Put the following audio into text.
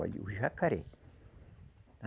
Olha, o jacaré.